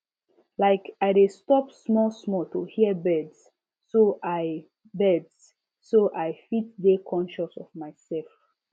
like i dey stop small small to hear birds so i birds so i fit dey conscious of myself